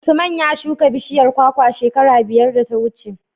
Usman ya shuka bishiyar kwakwa shekara biyar da ta wuce.